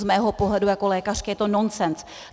Z mého pohledu jako lékařky je to nonsens.